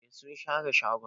Eh sun share shagon.